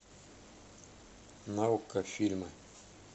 на окко фильмы